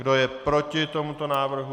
Kdo je proti tomuto návrhu?